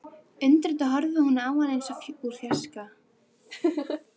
Undrandi horfði hún á hann eins og úr fjarska.